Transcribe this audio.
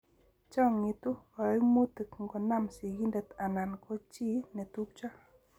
Chang'itu kaimutik ngo nam sigindet anan ko chi netupcho